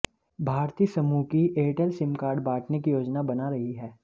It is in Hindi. भारती समूह की एयरटेल सिम कार्ड बांटने की योजना बना रही है